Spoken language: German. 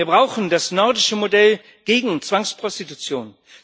Wir brauchen das nordische Modell gegen Zwangsprostitution.